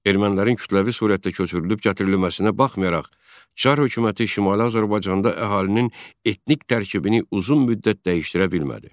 Ermənilərin kütləvi surətdə köçürülüb gətirilməsinə baxmayaraq, Çar hökuməti Şimali Azərbaycanda əhalinin etnik tərkibini uzun müddət dəyişdirə bilmədi.